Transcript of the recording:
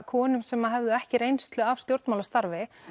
konum sem höfðu ekki reynslu af stjórnmálastarfi